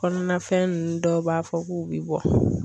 Kɔnɔnafɛn ninnu dɔw b'a fɔ k'u bɛ bɔ.